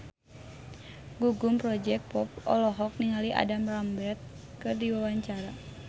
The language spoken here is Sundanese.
Gugum Project Pop olohok ningali Adam Lambert keur diwawancara